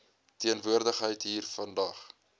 teenwoordigheid hier vandag